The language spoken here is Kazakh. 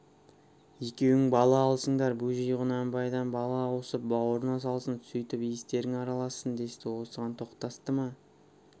екеуің бала алысыңдар бөжей құнанбайдан бала ауысып бауырына салсын сөйтіп иістерің аралассын десті осыған тоқтасты ма